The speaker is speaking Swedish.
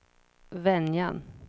Venjan